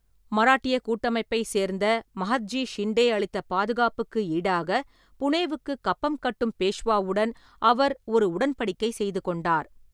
மராட்டியக் கூட்டமைப்பைச் சேர்ந்த மஹத்ஜி ஷிண்டே அளித்த பாதுகாப்புக்கு ஈடாக புனேவுக்கு கப்பம் கட்டும் பேஷ்வாவுடன் அவர் ஒரு உடன்படிக்கை செய்து கொண்டார்.